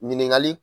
Ɲininkali